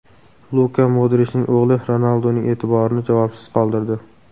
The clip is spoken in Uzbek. Luka Modrichning o‘g‘li Ronalduning e’tiborini javobsiz qoldirdi .